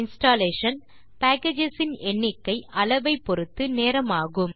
installation packages இன் எண்ணிக்கை அளவை பொருத்து நேரமாகும்